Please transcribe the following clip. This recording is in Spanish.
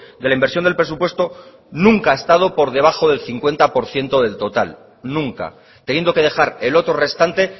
de la inversión del presupuesto nunca ha estado por debajo del cincuenta por ciento del total nunca teniendo que dejar el otro restante